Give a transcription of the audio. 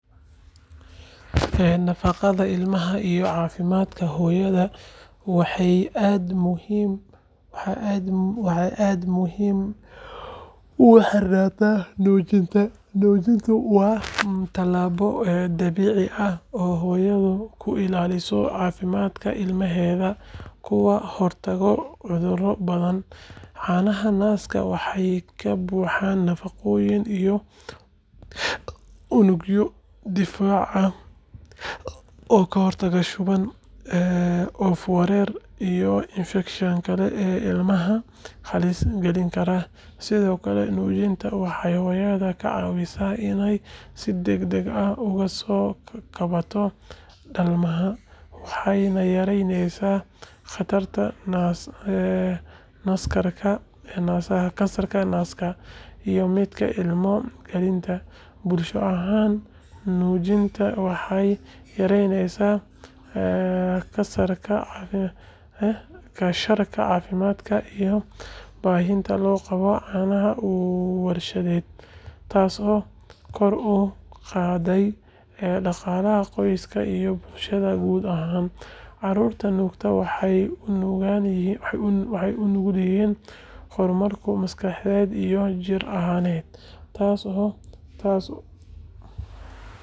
Nafaqada ilmaha iyo caafimaadka hooyada waxay aad ugu xirantahay nuujinta. Nuujintu waa tallaabo dabiici ah oo hooyadu ku ilaaliso caafimaadka ilmaheeda kana hortagto cudurro badan. Caanaha naaska waxay ka buuxaan nafaqooyin iyo unugyo difaac ah oo ka hortaga shuban, oof-wareen iyo infekshanno kale oo ilmaha halis gelin kara. Sidoo kale, nuujinta waxay hooyada ka caawisaa inay si degdeg ah uga soo kabato dhalmada, waxayna yaraysaa khatarta kansarka naasaha iyo midka ilmo-galeenka. Bulsho ahaan, nuujinta waxay yareysaa kharashka caafimaadka iyo baahida loo qabo caanaha warshadaysan, taasoo kor u qaadaysa dhaqaalaha qoysaska iyo bulshada guud ahaan. Carruurta nuugta waxay u nugul yihiin horumarka maskaxeed iyo jir ahaaneed.